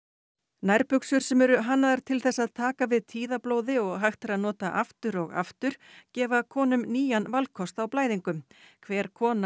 nærbuxur sem eru hannaðar til þess að taka við og hægt er að nota aftur og aftur gefa konum nýjan valkost á blæðingum hver kona